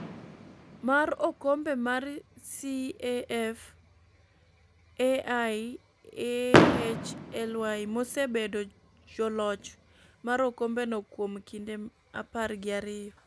mar okombe mar CAF Al Ahly mosebedo joloch mar okombeno kuom kinde apar gi ariyo